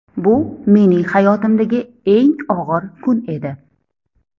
Bu mening hayotimdagi eng og‘ir kun edi.